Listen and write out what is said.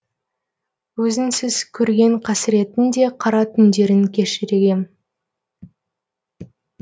өзіңсіз көрген қасіреттің де қара түндерін кешіргем